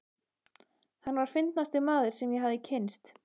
Hann var fyndnasti maður, sem ég hafði kynnst.